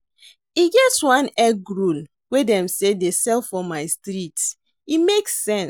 E get one egg roll wey dem dey sell for my street, e make sense.